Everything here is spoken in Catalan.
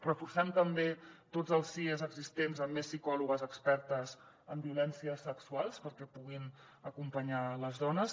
reforcem també tots els sies existents amb més psicòlogues expertes en violències sexuals perquè puguin acompanyar les dones